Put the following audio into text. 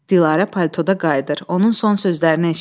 Dilarə paltoda qayıdır, onun son sözlərini eşidir.